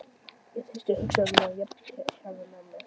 Ég hristi hugsanirnar jafnharðan af mér.